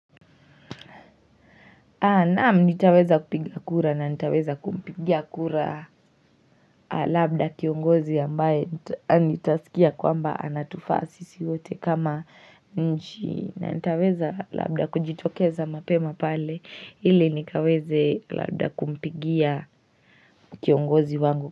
Naamu nitaweza kupiga kura na nitaweza kumpigia kura labda kiongozi ambaye nitasikia kwamba anatufa sisi wote kama nchi na nitaweza labda kujitokeza mapema pale ili nikaweze labda kumpigia kiongozi wangu.